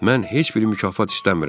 Mən heç bir mükafat istəmirəm.